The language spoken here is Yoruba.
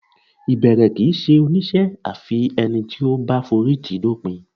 Ìbẹ̀rẹ̀ kì í ṣe oníṣẹ́ àfi ẹni tó bá forítìí dópin